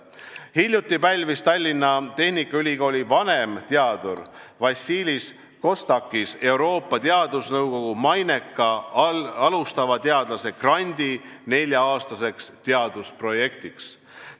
Hiljuti pälvis Tallinna Tehnikaülikooli vanemteadur Vasilis Kostakis Euroopa Teadusnõukogu maineka alustava teadlase grandi nelja-aastaseks teadusprojektiks.